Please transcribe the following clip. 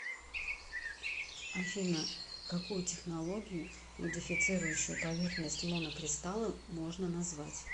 афина какую технологию модифицирующую поверхность монокристалла можно назвать